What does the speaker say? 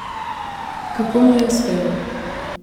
Kako mu je uspelo?